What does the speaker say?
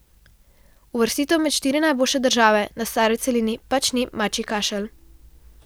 Uvrstitev med štiri najboljše države na stari celini pač ni mačji kašelj.